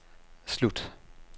slut